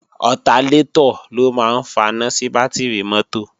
Ọtalétọ̀ ló máa ń faná sí bátìrì mọ́tò